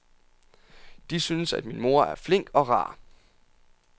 De synes, at min mor er flink og rar.